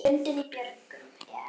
Lundinn í björgum er.